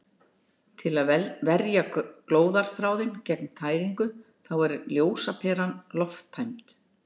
Til að verja glóðarþráðinn gegn tæringu þá er ljósaperan lofttæmd.